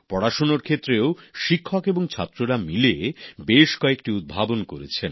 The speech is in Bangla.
পড়াশুনার ক্ষেত্রেও শিক্ষক এবং ছাত্ররা মিলে বেশ কয়েকটি উদ্ভাবন করেছেন